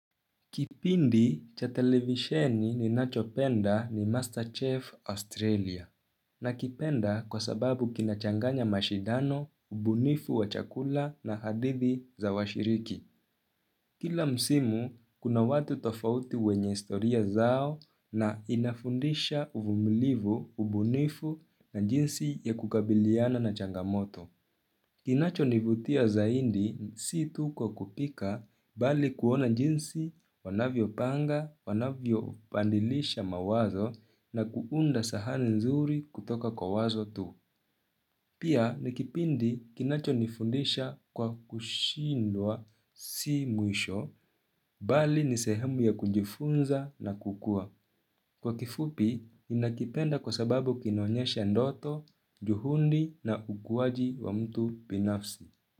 Kipindi cha televisheni ninachopenda ni Masterchef Australia. Na kipenda kwa sababu kinachanganya mashidano, ubunifu wa chakula na hadithi za washiriki. Kila msimu, kuna watu tofauti wenye historia zao na inafundisha uvumilivu ubunifu na jinsi ya kukabiliana na changamoto. Kinacho nivutia zaidi si tuko kupika bali kuona jinsi, wanavyo panga, wanavyo bandilisha mawazo na kuunda sahani nzuri kutoka kwa wazo tu. Pia nikipindi kinacho nifundisha kwa kushindwa si mwisho bali nisehemu ya kujifunza na kukua. Kwa kifupi, ninakipenda kwa sababu kinaonyesha ndoto, juhundi na ukuaji wa mtu binafsi.